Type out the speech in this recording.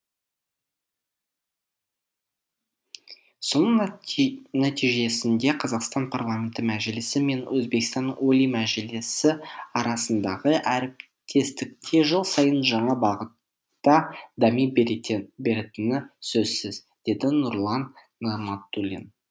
соның нәтижесінде қазақстан парламенті мәжілісі мен өзбекстан олий мажилісі арасындағы әріптестікте жыл сайын жаңа бағытта дами беретіні сөзсіз деді нұрлан нығматулин